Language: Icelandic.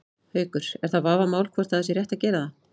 Haukur: Er það vafamál hvort að það sé rétt að gera það?